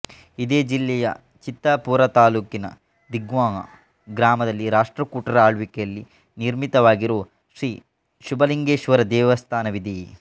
ಇದೇ ಜಿಲ್ಲೆಯ ಚಿತ್ತಾಪೂರತಾಲೂಕಿನ ದಿಗ್ಗಾಂವ ಗ್ರಾಮದಲ್ಲಿ ರಾಷ್ಟ್ರಕೂಟರ ಆಳ್ವಿಕೆಯಲ್ಲಿ ನಿರ್ಮಿತವಾಗಿರೋ ಶ್ರೀ ಶಂಭುಲಿಂಗೇಶ್ವರ ದೇವಸ್ಥಾನವಿದೆ